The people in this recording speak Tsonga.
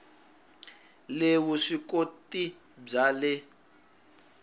le vusw ikoti bya le